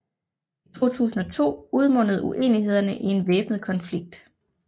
I 2002 udmundede uenighederne i en væbnet konflikt